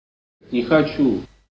не хочу